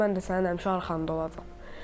Mən də sənin həmişə arxanda olacam.